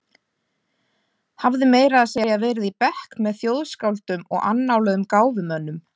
Hafði meira að segja verið í bekk með þjóðskáldum og annáluðum gáfumönnum.